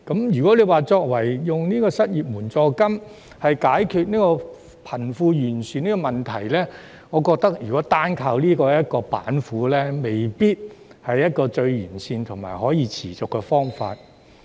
如果以失業援助金解決貧富懸殊問題，我覺得單靠這道板斧未必是最完善或可持續的方法。